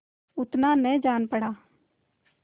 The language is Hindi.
उतना न जान पड़ा